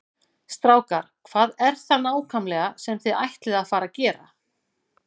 Strákar, hvað er það nákvæmlega sem þið ætlið að fara að gera?